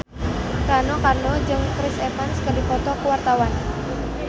Rano Karno jeung Chris Evans keur dipoto ku wartawan